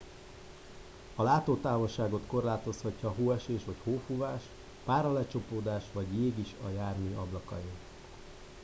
a látótávolságot korlátozhatja hóesés vagy hófúvás páralecsapódás vagy jég is a jármű ablakain